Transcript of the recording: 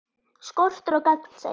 Skortur á gagnsæi